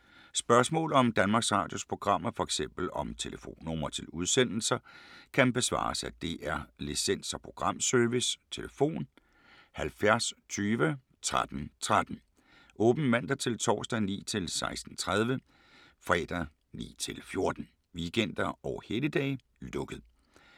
Spørgsmål om Danmarks Radios programmer, f.eks. om telefonnumre til udsendelser, kan besvares af DR Licens- og Programservice: tlf. 70 20 13 13, åbent mandag-torsdag 9.00-16.30, fredag 9.00-14.00, weekender og helligdage: lukket.